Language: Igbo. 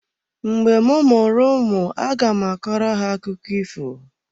Mgbe m mụrụ ụmụ aga m akọrọ ha akụkụ ifo.